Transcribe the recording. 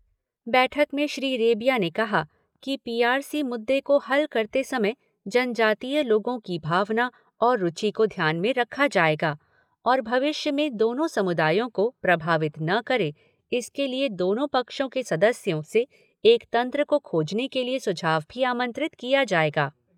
बैठक में श्री रेबिया ने कहा कि पी आर सी मुद्दे को हल करते समय जनजातीय लोगों की भावना और रुचि को ध्यान में रखा जाएगा और भविष्य में दोनों समुदायों को प्रभावित न करे, इसके लिए दोनों पक्षों के सदस्यों से एक तंत्र को खोजने के लिए सुझाव भी आमंत्रित किया जाएगा।